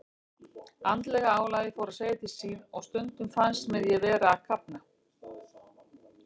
Andlega álagið fór að segja til sín og stundum fannst mér ég vera að kafna.